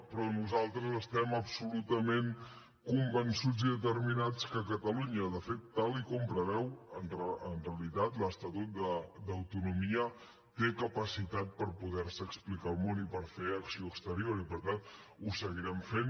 però nosaltres estem absolutament convençuts i determinats que catalunya de fet tal com preveu en realitat l’estatut d’autonomia té capacitat per poder se explicar al món i per fer acció exterior i per tant ho seguirem fent